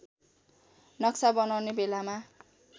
नक्सा बनाउने बेलामा